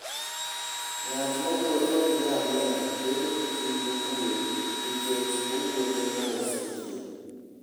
Ng'at mowuotho gi ngamia bedo gi chuny mokuwe nikech owuotho mos e thim.